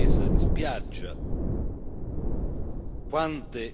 migliaia di corpi senza vita in questi anni!